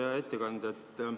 Hea ettekandja!